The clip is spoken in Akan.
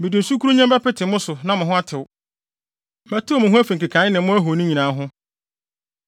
Mede nsu kurunnyenn bɛpete mo so na mo ho atew: Mɛtew mo ho afi nkekae ne mo ahoni nyinaa ho.